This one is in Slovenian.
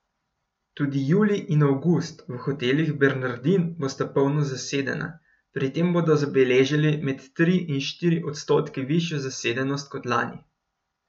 Tudi julij in avgust v Hotelih Bernardin bosta polno zasedena, pri tem bodo zabeležili med tri in štiri odstotke višjo zasedenost kot lani.